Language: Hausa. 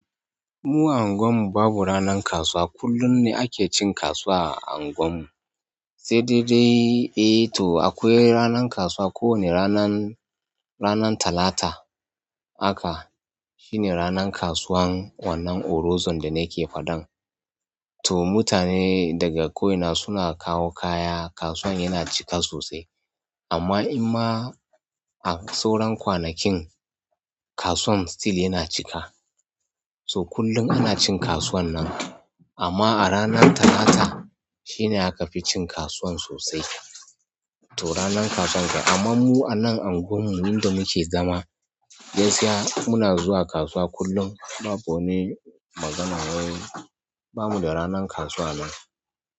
Mu a unguwan mu babu ranan kasuwa. Kullum ne ake cin kasuwa a unguwan mu. Sai dai dai eh toh akwai ranan kasuwa ko wane ranan, ranan Talata haka shine ranan kasuwan wannan Orozon da nake faɗan. To mutane daga ko'ina suna kawo kaya, kasuwan yana cika sosai. Amma in ma a sauran kwanakin kasuwan still yana cika. To kullum ana cin kasuwan nan. Amma a ranan Talata shi ne aka fi cin kasuwan sosai. To ranan kasuwan. Amma mu a nan unguwan mu inda muke zama, gaskiya muna zuwa kasuwa kullum. Babu wani magananan, wai bamu da ranan kasuwa anan.